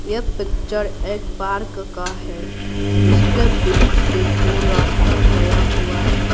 यह पिक्चर एक पार्क का है जिसके बीच से दो रास्ता गया हुआ है।